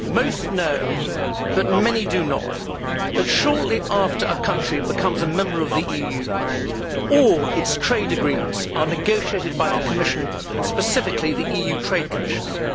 Madam President, most people know but many do not that, shortly after a country becomes a member of the EU, all its trade agreements are negotiated by the Commission and, specifically, the EU Trade Commissioner.